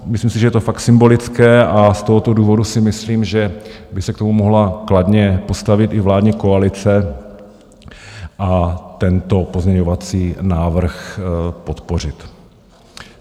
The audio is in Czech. Myslím si, že je to fakt symbolické, a z tohoto důvodu si myslím, že by se k tomu mohla kladně postavit i vládní koalice a tento pozměňovací návrh podpořit.